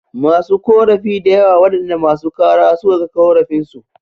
Masu korafi dayawa waɗanda masu kara suka kai korafin su